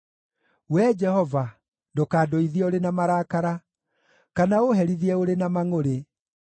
Wee Jehova, ndũkandũithie ũrĩ na marakara, kana ũũherithie ũrĩ na mangʼũrĩ.